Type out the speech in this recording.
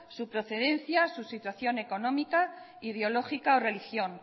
su procedencia su situación económica ideológica o religión